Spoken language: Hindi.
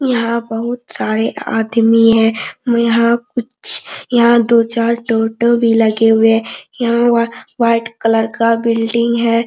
यहां बहुत सारे आदमी है यहां कुछ यहाँ दो चार टोटो भी लगे हुए है यहां वा व्हाइट कलर का बिल्डिंग है।